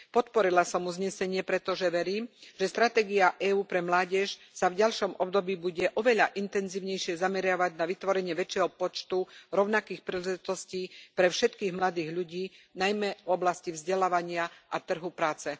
Podporila som uznesenie, pretože verím, že stratégia EÚ pre mládež sa v ďalšom období bude oveľa intenzívnejšie zameriavať na vytvorenie väčšieho počtu rovnakých príležitostí pre všetkých mladých ľudí, najmä v oblasti vzdelávania a trhu práce.